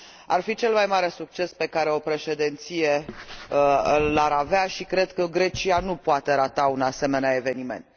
Ar fi cel mai mare succes pe care o președinție l ar avea și cred că Grecia nu poate rata un asemenea eveniment.